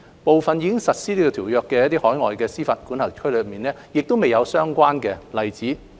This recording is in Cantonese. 部分已實施該條約的海外司法管轄區也沒有相關例子。